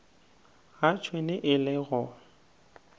ga tšhwene e le go